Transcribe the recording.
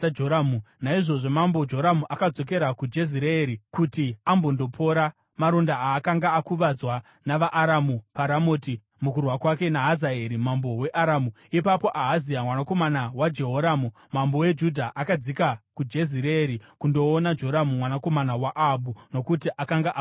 naizvozvo mambo Joramu akadzokera kuJezireeri kuti ambondopora maronda aakanga akakuvadzwa navaAramu paRamoti mukurwa kwake naHazaeri mambo weAramu. Ipapo Ahazia mwanakomana waJehoramu, mambo weJudha, akadzika kuJezireeri kundoona Joramu, mwanakomana waAhabhu, nokuti akanga akuvadzwa.